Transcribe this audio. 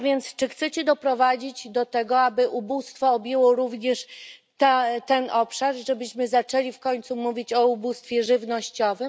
Czy chcecie więc doprowadzić do tego, aby ubóstwo objęło również ten obszar i żebyśmy zaczęli w końcu mówić o ubóstwie żywnościowym?